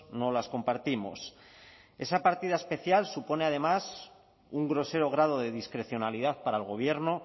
no las compartimos esa partida especial supone además un grosero grado de discrecionalidad para el gobierno